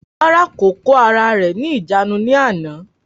Rárá, kò kóra ẹ̀ ní ìjánu ní àná